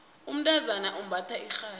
umntazana umbatha irhabi